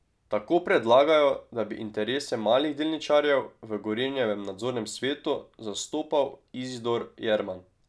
Tako predlagajo, da bi interese malih delničarjev v Gorenjevem nadzornem svetu zastopal Izidor Jerman.